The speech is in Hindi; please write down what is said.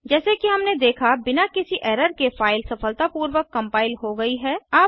जैसे कि हमने देखा बिना किसी एरर के फ़ाइल सफलतापूर्वक कम्पाइल हो गई है